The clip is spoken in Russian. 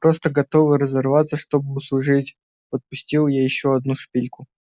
просто готовы разорваться чтобы услужить подпустила я ещё одну шпильку